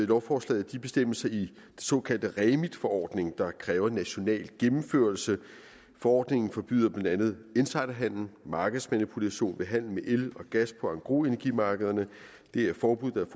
lovforslag de bestemmelser i den såkaldte remit forordning der kræver national gennemførelse forordningen forbyder blandt andet insiderhandel og markedsmanipulation ved handel med el og gas på engrosenergimarkederne det er forbud